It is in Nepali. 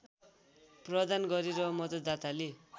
प्रदान गरे र मतदाताले